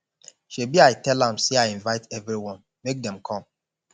shebi i tell am say i invite everyone make dem come